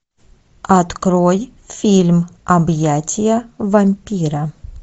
открой фильм объятия вампира